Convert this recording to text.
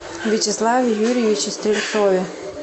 вячеславе юрьевиче стрельцове